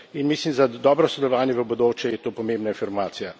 In mislim, za dobro sodelovanje v bodoče, je to pomembna informacija.